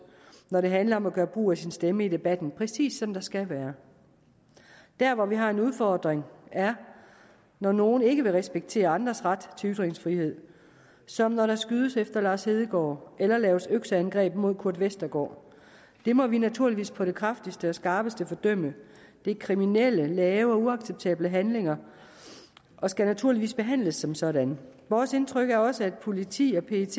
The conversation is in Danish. når det handler om at gøre brug af sin stemme i debatten præcis som der skal være der hvor vi har en udfordring er når nogen ikke vil respektere andres ret til ytringsfrihed som når der skydes efter lars hedegaard eller laves økseangreb mod kurt westergaard det må vi naturligvis på det kraftigste og skarpeste fordømme det er kriminelle lave og uacceptable handlinger og skal naturligvis behandles som sådanne vores indtryk er også at politi og pet